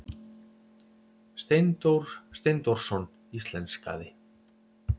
Steindór Steindórsson íslenskaði.